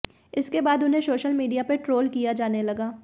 इसके बाद उन्हें सोशल मीडिया पर ट्रोल किया जाने लगा